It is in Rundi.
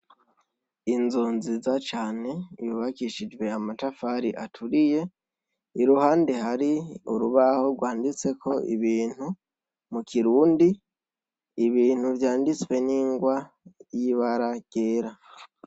Inzu nziza cane yubakishijwe amatafari aturiye, iruhande hari urubaho rwanditseko ibintu mu Kirundi, ibintu vyanditswe n'ingwa y'ibara ryera.